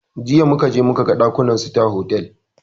Jiya muka je muka gan ɗakunan sita hotal